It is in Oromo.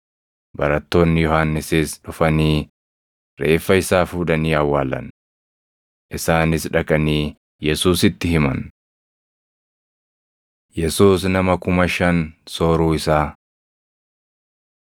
Barattoonni Yohannisis dhufanii reeffa isaa fuudhanii awwaalan. Isaanis dhaqanii Yesuusitti himan. Yesuus Nama Kuma Shan Sooruu Isaa 14:13‑21 kwf – Mar 6:32‑44; Luq 9:10‑17; Yoh 6:1‑13 14:13‑21 kwi – Mat 15:32‑38